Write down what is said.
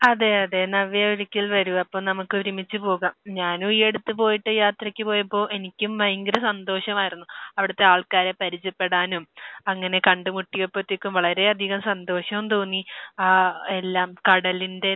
അതെ. അതെ. നവ്യ ഒരിക്കൽ വരൂ. അപ്പോൾ നമുക്ക് ഒരുമിച്ച് പോകാം. ഞാനും ഈ അടുത്ത് പോയിട്ട് യാത്രയ്ക്ക് പോയപ്പോൾ എനിക്കും ഭയങ്കര സന്തോഷമായിരുന്നു. അവിടുത്തെ ആൾക്കാരെ പരിചയപ്പെടാനും അങ്ങനെ കണ്ടുമുട്ടിയപ്പോഴത്തേക്കും വളരെയധികം സന്തോഷവും തോന്നി ആഹ് എല്ലാം കടലിന്റെ